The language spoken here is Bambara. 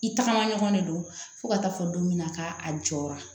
I tagama ɲɔgɔn de don fo ka taa fɔ don min na ka a jɔra